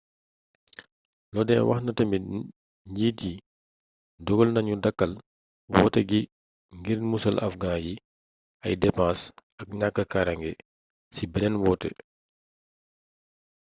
lodin wax na tamit njiit yi dogal nanu dàkkal woote gi ngir musal afghans yi ay depens ak ñàkk karange ci beneen wote